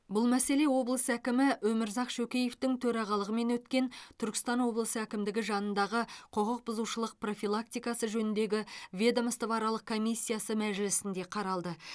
бұл мәселе облыс әкімі өмірзақ шөкеевтің төрағалығымен өткен түркістан облысы әкімдігі жанындағы құқық бұзушылық профилактикасы жөніндегі ведомствоаралық комиссиясы мәжілісінде қаралды